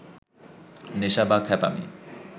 নেশা বা খ্যাপামি